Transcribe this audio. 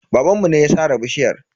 Babanmu ne ya sare bishiyar.